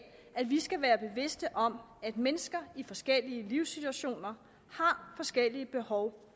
at vi skal være bevidste om at mennesker i forskellige livssituationer har forskellige behov